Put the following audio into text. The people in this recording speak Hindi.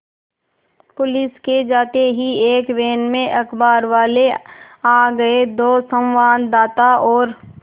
पुलिस के जाते ही एक वैन में अखबारवाले आ गए दो संवाददाता और